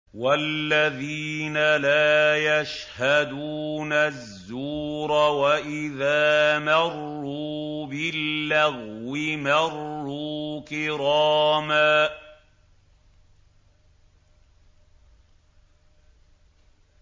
وَالَّذِينَ لَا يَشْهَدُونَ الزُّورَ وَإِذَا مَرُّوا بِاللَّغْوِ مَرُّوا كِرَامًا